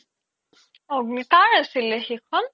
অগ্নি কাৰ আছিলে সেইখন